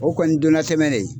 O kɔni ye don na tɛmɛ de ye.